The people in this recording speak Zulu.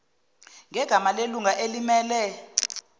ngegama lelunga elimmele